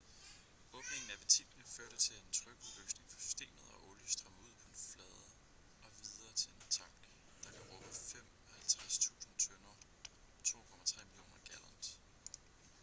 åbningen af ventilerne førte til en trykudløsning for systemet og olie strømmede ud på en flade og videre til en tank der kan rumme 55.000 tønder 2,3 millioner gallons